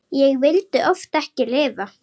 Og vildi oft ekki lifa.